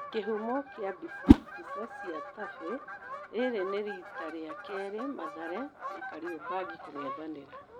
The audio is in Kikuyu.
Kĩhumo kia mbica, mbica cia Tafe. Rĩrĩ nĩ rita rĩa kerĩ Mathare na Kariombangi kũng'ethanĩra.